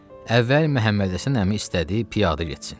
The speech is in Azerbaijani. Əvvəl Məhəmmədhəsən əmi istədi piyadə getsin.